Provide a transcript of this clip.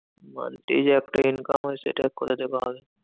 Monthly যে একটা income হয়, সেটা কথা থেকে হবে?